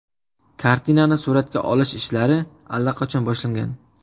Kartinani suratga olish ishlari allaqachon boshlangan.